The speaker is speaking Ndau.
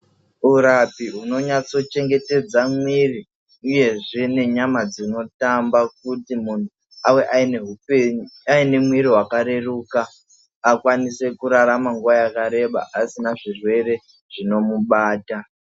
Urapu hunonyatso chengetedza mwiiri uyezve nenyama dzinotamba kuti munhu ave aine hupenyu, aine mwiiri wakareruka. Akwanise kurarama nguva yakareba asina zvirwere zvinomubata.